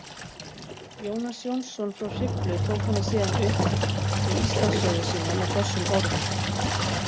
Jónas Jónsson frá Hriflu tók hana síðan upp í Íslandssögu sína með þessum orðum: